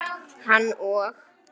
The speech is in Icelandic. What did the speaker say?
Hann og